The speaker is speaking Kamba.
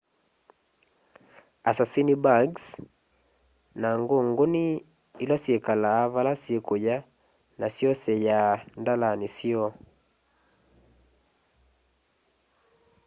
assassin-bugs na ngunguni ila syikalaa vala sikuya na syoseyaa ndalani syoo